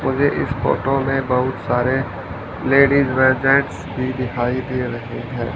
मुझे इस फोटो में बहुत सारे लेडिज व जेंट्स भी दिखाई दे रहे हैं।